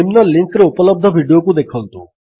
ନିମ୍ନ ଲିଙ୍କ୍ ରେ ଉପଲବ୍ଧ ଭିଡିଓକୁ ଦେଖନ୍ତୁ